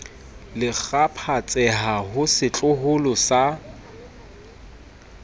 le kgaphatseha ho setloholo sa